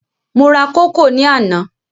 Mo ra kókò ní àná.